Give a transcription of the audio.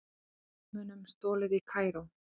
Fornmunum stolið í Kaíró